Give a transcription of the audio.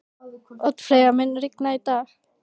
Oddfreyja, mun rigna í dag?